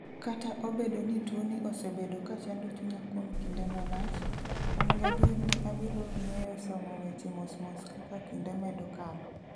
Kata obedo ni tuwoni osebedo ka chando chunya kuom kinde malach, an gadier ni abiro ng'eyo somo weche mos mos kaka kinde medo kalo.